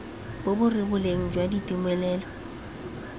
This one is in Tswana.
bo bo rebolang jwa ditumelelo